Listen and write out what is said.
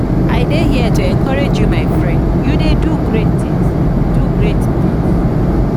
i dey here to encourage you my friend you dey do great tings. do great tings.